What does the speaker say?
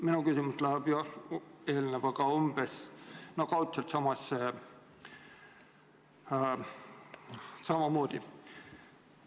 Minu küsimus läheb eelnevaga kaudselt samasse suunda.